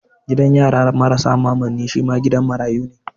Gidan yara marasa mamanni shi ma gidan marayu ne.